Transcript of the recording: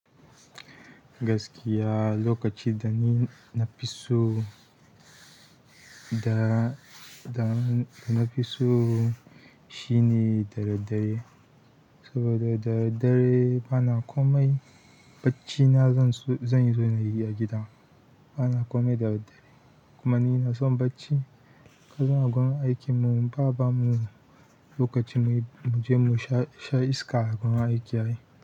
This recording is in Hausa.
Gaskiya lokacin da ni na fi so, da, da, da na fi so shine da daddare. Saboda da daddare bana komai, bacci na zan so-- zan zo na yi a gida. Bana komai dare dare. Kuma ni na son bacci. Ka suna gurin aikin mu, ba, ba mu lokaci na muje mu sha iska a wajen aiki ai.